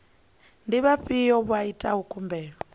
ndi vhafhio vha itaho khumbelo